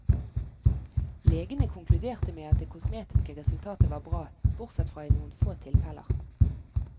Legene konkluderte med at det kosmetiske resultatet var bra, bortsett fra i noen få tilfeller.